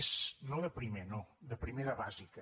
és no de primer no de primer de bàsica